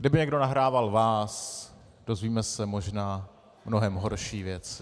Kdyby někdo nahrával vás, dozvíme se možná mnohem horší věci.